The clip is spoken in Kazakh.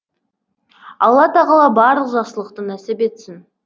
алла тағала барлық жақсылықты нәсіп етсін